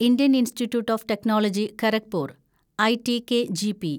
Indian institute of technology Kharagpur (IITKGP)